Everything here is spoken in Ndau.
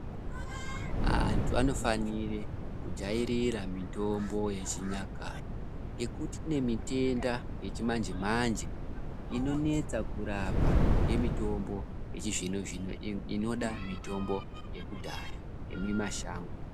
Antu anofanire kujairira mitombo yechinyakare, ngekuti kune mitenda yechimanje-manje, inonetsa kurapa nemitombo yechizvino-zvino, inoda mitombo yekudhaya yemumashango.